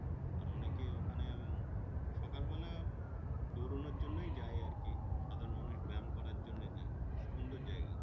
আর অনেকে ওখানে সকালবেলা দৌড়োনোর জন্যই যায় আর কি আবার মানুষ ব্যাম করার জন্য যায় সুন্দর জায়গায়।